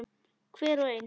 Hver og ein.